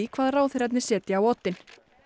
hvað ráðherrarnir setja á oddinn